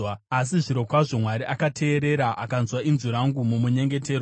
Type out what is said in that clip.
asi zvirokwazvo Mwari akateerera akanzwa inzwi rangu mumunyengetero.